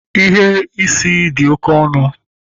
Ighe isi dị oké ọnụ